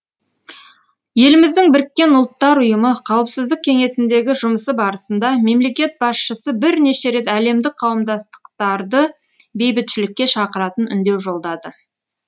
еліміздің біріккен ұлттар ұйымы қауіпсіздік кеңесіндегі жұмысы барысында мемлекет басшысы бірнеше рет әлемдік қауымдастықтарды бейбітшілікке шақыратын үндеу жолдады